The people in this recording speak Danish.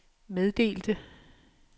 meddelte